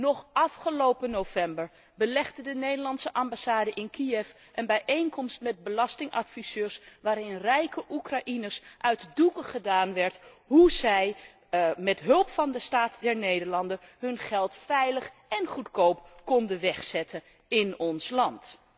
Nog afgelopen november belegde de Nederlandse ambassade in Kiev een bijeenkomst met belastingadviseurs waarin rijke Oekraïners uit de doeken werd gedaan hoe zij met hulp van de Staat der Nederlanden hun geld veilig en goedkoop konden wegzetten in ons land.